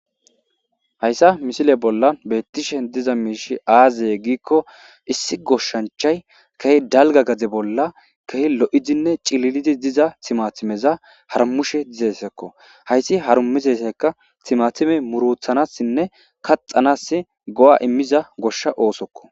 Hayisan misile bolla diza mshey azeko issi goshachay kehi daliga gade bolla loizinee cililidiza timatimeza harimishe de'esko hayis timatimey murutanasine kaxanas go'a imiza gosha osoko